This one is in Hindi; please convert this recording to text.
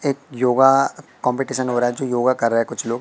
एक योगा कंपीटिशन हो रहा है जो योगा कर रहे कुछ लोग--